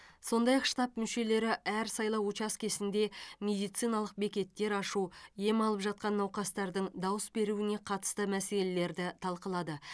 сондай ақ штаб мүшелері әр сайлау учаскесінде медициналық бекеттер ашу ем алып жатқан науқастардың дауыс беруіне қатысты мәселелерді талқылады